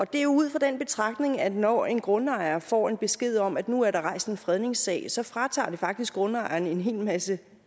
det er ud fra den betragtning at når en grundejer får en besked om at nu er der rejst en fredningssag så fratager det faktisk grundejeren en hel masse